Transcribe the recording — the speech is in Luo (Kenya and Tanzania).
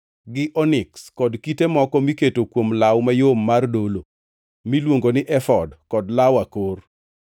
gi oniks kod kite moko miketo kuom law mayom mar dolo miluongo ni efod kod law akor.